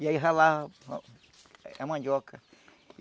E aí ralava a mandioca.